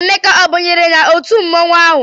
Emeka ọ banyere n'otu mmọnwụ ahụ?